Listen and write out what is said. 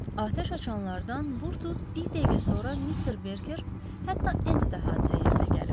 Atəş açılanlardan bir dəqiqə sonra mister Berker, hətta Ems də hadisə yerinə gəlib.